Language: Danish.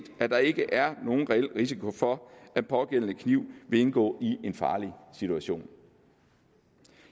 at der ikke er nogen reel risiko for at pågældende kniv vil indgå i en farlig situation